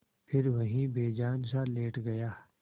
फिर वहीं बेजानसा लेट गया